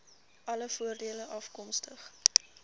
alle voordele afkomstig